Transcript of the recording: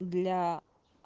для